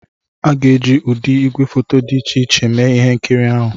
A ga-eji ụdị igwefoto dị iche iche mee ihe nkiri ahụ